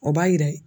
O b'a jira